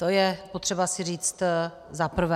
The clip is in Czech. To je potřeba si říct zaprvé.